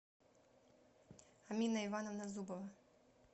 амина ивановна зубова